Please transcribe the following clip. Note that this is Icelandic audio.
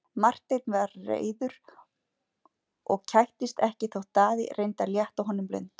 Marteinn var reiður og kættist ekkert þótt Daði reyndi að létta honum lund.